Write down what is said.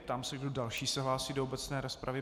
Ptám se, kdo další se hlásí do obecné rozpravy.